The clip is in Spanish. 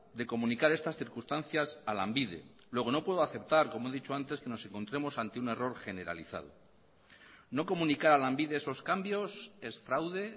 de comunicar estas circunstancias a lanbide luego no puedo aceptar como he dicho antes que nos encontremos ante un error generalizado no comunicar a lanbide esos cambios es fraude